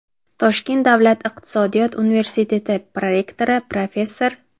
Toshkent davlat iqtisodiyot universiteti prorektori, professor;.